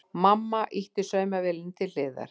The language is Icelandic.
Mamma ýtti saumavélinni til hliðar.